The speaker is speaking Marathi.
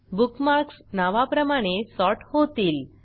बुकमार्कस नावाप्रमाणे सॉर्ट होतील